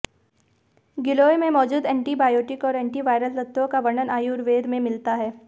गिलोय में मौजूद एंटीबायोटिक और एंटीवायरल तत्वों का वर्णन आयुर्वेद में मिलता है